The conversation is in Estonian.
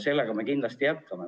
Seda me kindlasti jätkame.